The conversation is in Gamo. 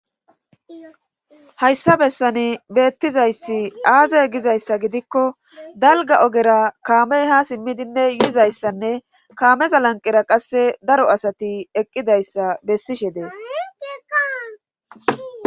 Hayssa bessani beettizayssi aaze gizayssa gidikko dalga ogera kaamey ha simmidinne yiizayssanne kaameza lanqera qasse daro asati eqqidayssa bessishe dees.